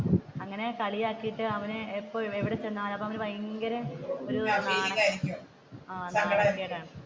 അപ്പൊ അങ്ങനെ കളിയാക്കിയിട്ട് അപ്പൊ അവനെ ഇവിടെ ചെന്നാലും അവൻ ഭയങ്കര